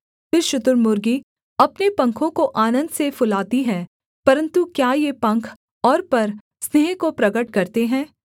फिर शुतुर्मुर्गी अपने पंखों को आनन्द से फुलाती है परन्तु क्या ये पंख और पर स्नेह को प्रगट करते हैं